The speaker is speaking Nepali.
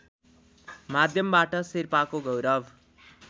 माध्यमबाट शेर्पाको गौरव